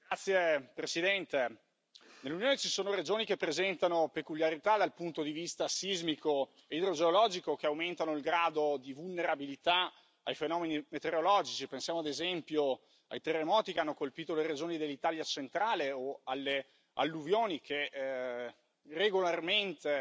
Signora Presidente, onorevoli colleghi, nell'Unione ci sono regioni che presentano peculiarità dal punto di vista sismico e idrogeologico che aumentano il grado di vulnerabilità ai fenomeni meteorologici. Pensiamo, ad esempio, ai terremoti che hanno colpito le regioni dell'Italia centrale o alle alluvioni che regolarmente